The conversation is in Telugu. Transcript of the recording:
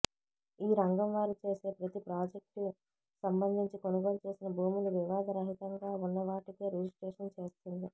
ఈ రంగం వారు చేసే ప్రతి ప్రాజెక్ట్కు సంబంధించి కొనుగోలుచేసిన భూములు వివాదరహితంగా ఉన్నవాటికే రిజిస్ట్రేషన్ చేస్తుంది